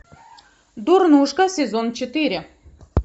дурнушка сезон четыре